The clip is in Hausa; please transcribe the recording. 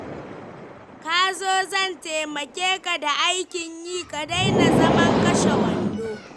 Ka zo zan taimake ka da aikin yi, ka daina zaman kashe wando.